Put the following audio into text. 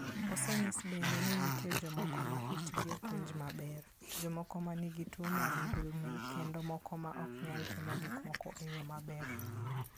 Osenyis bende ni nitie jomoko ma itgi ok winj maber, jomoko ma nigi tuwo mar ndulme, kendo moko ma ok nyal timo gik moko e yo maber.